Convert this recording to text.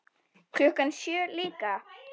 Klukkan sjö líka.